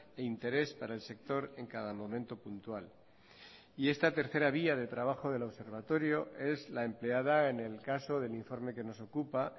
e interés para el sector en cada momento puntual y esta tercera vía de trabajo del observatorio es la empleada en el caso del informe que nos ocupa